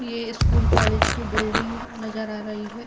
ये school college की building नज़र आ रही है।